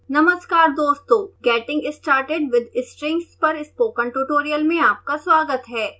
नमस्कार दोस्तों getting started with strings पर स्पोकन ट्यूटोरियल में आपका स्वागत है